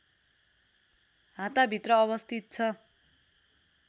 हाताभित्र अवस्थित छ